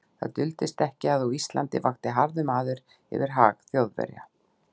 Það duldist ekki, að á Íslandi vakti harður maður yfir hag Þjóðverja.